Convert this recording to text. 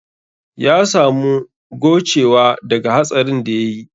Ya samu gowcewa daga hatsarin da ya yi